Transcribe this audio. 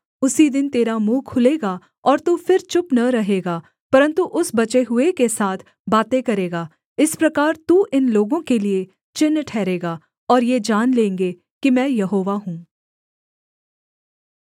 उसी दिन तेरा मुँह खुलेगा और तू फिर चुप न रहेगा परन्तु उस बचे हुए के साथ बातें करेगा इस प्रकार तू इन लोगों के लिये चिन्ह ठहरेगा और ये जान लेंगे कि मैं यहोवा हूँ